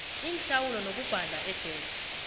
inhlawulo nokubhadla ejele